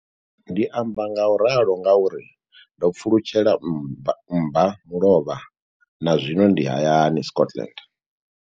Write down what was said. Ndi amba ngauralo nga uri ndo pfulutshela mmbamulovha na zwino ndi hayani, Scotland.